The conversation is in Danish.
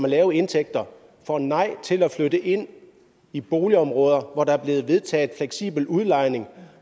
med lave indtægter får et nej til at flytte ind i boligområder hvor der er blevet vedtaget fleksibel udlejning